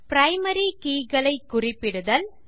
primary keys ஐ குறிப்பிடுதல் 6